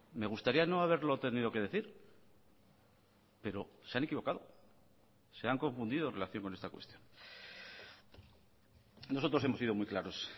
me gustaría no haberlo tenido que decir pero se han equivocado se han confundido en relación con esta cuestión nosotros hemos sido muy claros